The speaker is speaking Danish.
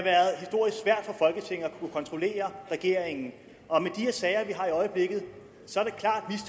kontrollere regeringen og med de sager vi har i øjeblikket